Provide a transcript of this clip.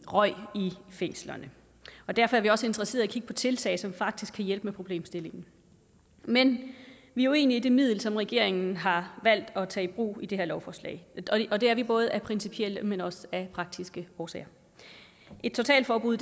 røg i fængslerne derfor er vi også interesserede kigge på tiltag som faktisk kan hjælpe med problemstillingen men vi er uenige i det middel som regeringen har valgt at tage i brug i det her lovforslag og det er vi både af principielle men også af praktiske årsager et totalforbud